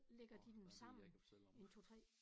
Årh der en del jeg kan fortælle om